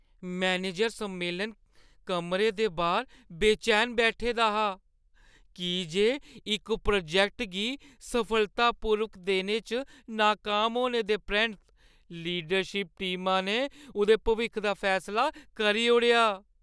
Manager सम्मेलन कमरे दे बाह्‌र बेचैन बैठे दा हा की जे इक प्रोजैक्ट गी सफलतापूर्वक देने च नाकाम होने दे परैंत्त लीडरशिप टीमा ने उʼदे भविक्ख दा फैसला करी ओड़ेआ।